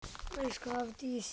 Elsku Hafdís.